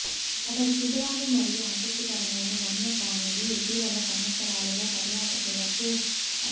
అతడి శిబిరాలు మరియు ఆసక్తికరమైన వన్యప్రాణులు ఇటీవలి సంవత్సరాలలో పర్యాటకులను ఆకర్షించాయి